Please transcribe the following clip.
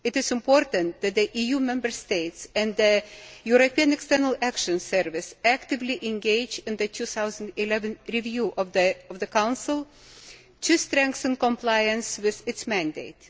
It is important that the EU Member States and the European External Action Service actively engage in the 2011 review of the Council to strengthen compliance with its mandate.